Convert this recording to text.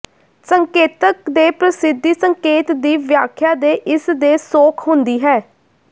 ਸੰਕੇਤਕ ਦੇ ਪ੍ਰਸਿੱਧੀ ਸੰਕੇਤ ਦੀ ਵਿਆਖਿਆ ਦੇ ਇਸ ਦੇ ਸੌਖ ਹੁੰਦੀ ਹੈ